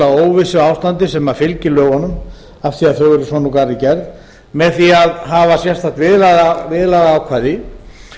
óvissuástandi sem fylgir lögunum af því að þau eru svona úr garði gerð með því að hafa sérstakt viðlagaákvæði